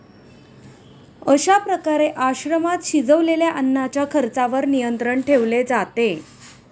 अशा प्रकारे आश्रमात शिजवलेल्या अन्नाच्या खर्चावर नियंत्रण ठेवले जाते